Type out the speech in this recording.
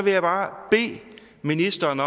jeg bare bede ministeren